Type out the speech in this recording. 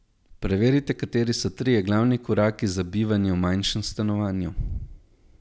Preverite, kateri so trije glavni koraki za bivanje v manjšem stanovanju.